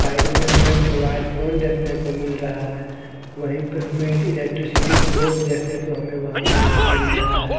Side में हमे एक मोबाइल फ़ोन देखने को मिल रहा हैं वही पर हमे इलेक्ट्रिसिटी बोर्ड देखने को हमे वहाँ पर मिल रहा हैं ।